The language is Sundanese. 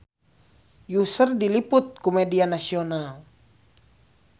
Usher diliput ku media nasional